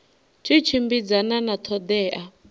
tshi tshimbidzana na ṱho ḓea